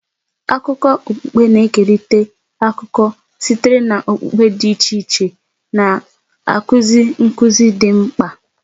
Akụkọ okpukpe na-ekerịta akụkọ sitere na okpukpe dị iche iche, na-akụzi nkuzi dị mkpa.